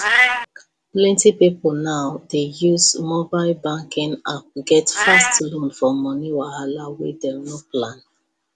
plenty people now dey use mobile banking app get fast loan for money wahala wey dem no plan